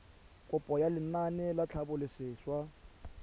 kopo ya lenaane la tlhabololosewa